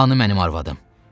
Hanı mənim arvadım?